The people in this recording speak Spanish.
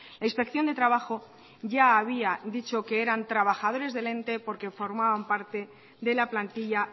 la inspección de trabajo ya había dicho que eran trabajadores del ente porque formaban parte de la plantilla